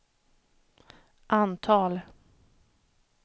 antal